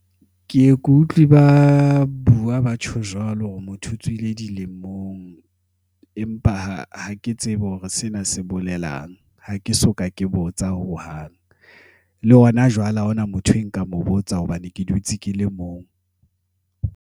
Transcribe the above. Ke ye ke utlwi ba bua ba tjho jwalo. Hore motho o tswile dilemong. Empa ha ha ke tsebe hore sena se bolelang. Ha ke soka ke botsa hohang. Le hona jwale ha ho na motho e nka mo botsang, hobane ke dutse ke le mong.